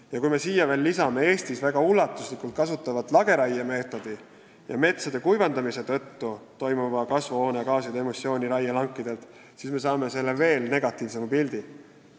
Ja kui me lisame siia ka Eestis väga ulatuslikult kasutatava lageraiemeetodi ja metsade kuivendamise tõttu toimuva kasvuhoonegaaside emissiooni raielankidelt, siis saame veel negatiivsema pildi.